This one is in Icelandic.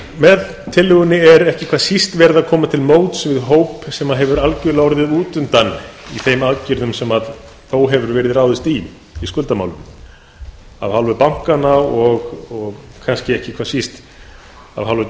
með tillögunni er ekki hvað síst komið til móts við hóp sem hefur algjörlega orðið út undan í þeim aðgerðum sem þó hefur verið ráðist í í skuldamálunum af hálfu bankanna og kannski ekki hvað síst af hálfu